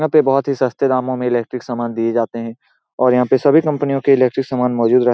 यहाँ पे बहुत ही सस्ते दामो में इलेक्ट्रिक सामान दिए जाते हैं और यहाँ पे सभी कंपनियों के सामान मौजूद रहते --